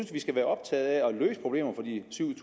vi skal være optaget af at løse problemer for de syv